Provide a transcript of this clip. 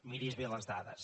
miri’s bé les dades